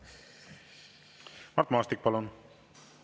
Mart Maastik, palun!